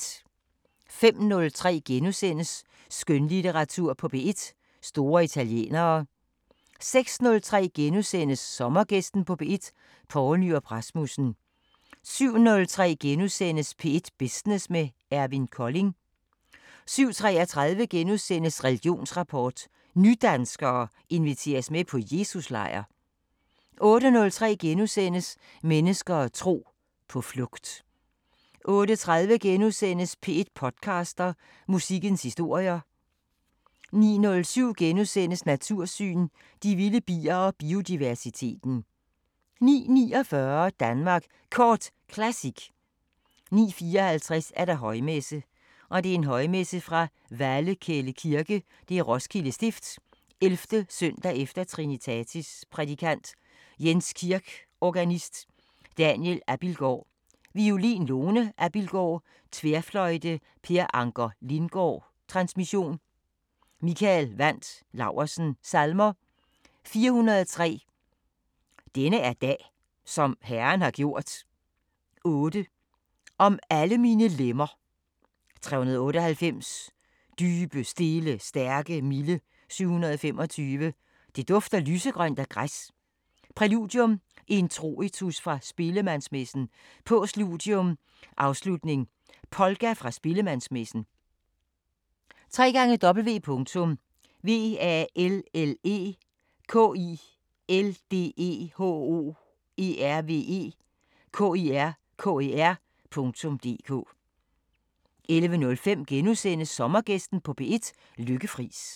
05:03: Skønlitteratur på P1: Store italienere * 06:03: Sommergæsten på P1: Poul Nyrup Rasmussen * 07:03: P1 Business med Eivind Kolding * 07:33: Religionsrapport: Nydanskere inviteres med på Jesus-lejr * 08:03: Mennesker og tro: På flugt * 08:30: P1 podcaster – Musikkens historier * 09:07: Natursyn: De vilde bier og biodiversiteten * 09:49: Danmark Kort Classic 09:54: Højmesse - Højmesse fra Vallekilde Kirke, Roskilde Stift. 11. s. e. Trinitatis Prædikant: Jens Kirk Organist: Daniel Abildgaard, violin Lone Abildgaaard, tværfløjte Per Anker Lindgaard Transmission: Mikael Wandt Laursen Salmer: 403: Denne er dag som Herren har gjort 8: Om alle mine lemmer 398: Dybe, stille, stærke, milde 725: Det dufter lysegrønt af græs. Præludium: Introitus fra Spillemandsmessen Postludium: Afslutnings polka fra Spillemandsmessen www.vallekildehoervekirker.dk 11:05: Sommergæsten på P1: Lykke Friis *